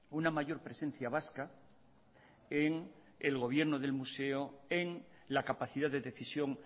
una mayor presencia vasca en el gobierno del museo en la capacidad de decisión